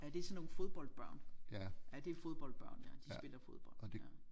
Ja det er sådan nogle fodboldbørn ja det er fodboldbørn ja de spiller fodbold ja